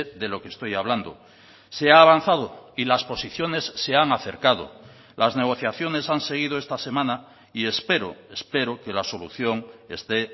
de lo que estoy hablando se ha avanzado y las posiciones se han acercado las negociaciones han seguido esta semana y espero espero que la solución esté